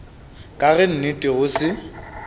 ka ge nnete go se